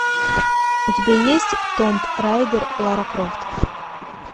у тебя есть томб райдер лара крофт